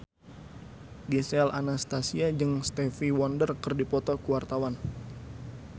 Gisel Anastasia jeung Stevie Wonder keur dipoto ku wartawan